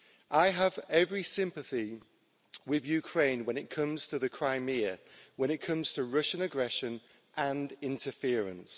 I have every sympathy with Ukraine when it comes to Crimea, when it comes to Russian aggression and interference.